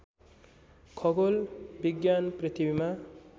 खगोल विज्ञान पृथ्वीमा